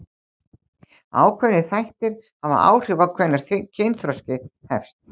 Ákveðnir þættir hafa áhrif á hvenær kynþroski hefst.